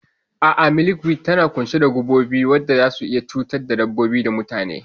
A'a, milkweed tana ƙunshe da gubobi waɗanda zasu iya cutar da dabbobi da mutane.